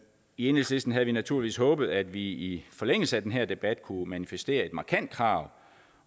enhedslisten havde naturligvis håbet at vi i forlængelse af den her debat kunne manifestere et markant krav